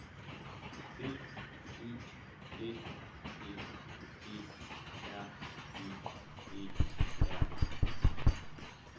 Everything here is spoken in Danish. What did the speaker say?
B Y G G E R I E R